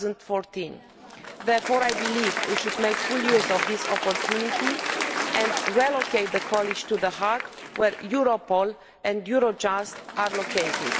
2014. Therefore I believe we should make full use of this opportunity and relocate the college to The Hague, where Europol and Eurojust are located.